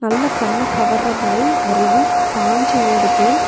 நல்ல கண்ண கவர்ற மாதிரி அருவி பாஞ்ஜி ஓடுது.